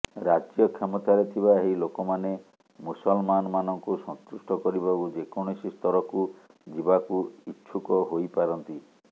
ରାଜ୍ୟ କ୍ଷମତାରେ ଥିବା ଏହି ଲୋକମାନେ ମୁସଲମାନମାନଙ୍କୁ ସନ୍ତୁଷ୍ଟ କରିବାକୁ ଯେକୌଣସି ସ୍ତରକୁ ଯିବାକୁ ଇଚ୍ଛୁକ ହୋଇପାରନ୍ତି